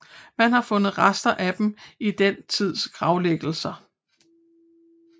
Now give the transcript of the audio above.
Man har fundet rester af dem i den tids gravlæggelser